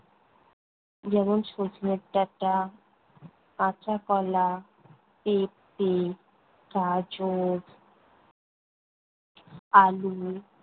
যেমন- সজনের ডাঁটা, কাঁচা কলা, পেপে, গাজর, আলু।